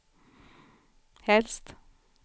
helst